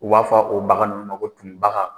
U b'a fɔ o bagan ninnu ma ko tumubaga.